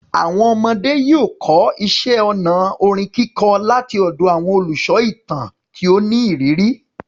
Àwọn ọmọdé yóò kọ́ iṣẹ́ ọnà kíkọ orin láti ọ̀dọ̀ àwọn olùsọ ìtàn tí ó ní ìrírí.